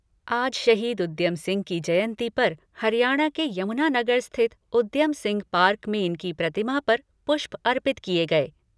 आज शहीद उद्यम सिंह की जयंती पर हरियाणा के यमुनानगर स्थित उद्यम सिंह पार्क में उनकी प्रतिमा पर पुष्प अर्पित किए गए।